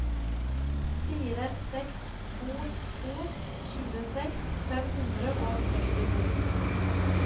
fire seks to to tjueseks fem hundre og sekstito